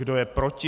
Kdo je proti?